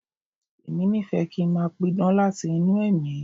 Èmi nífẹ̀ẹ́ kí n máa pidán láti inú ẹ̀mí.